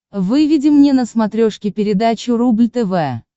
выведи мне на смотрешке передачу рубль тв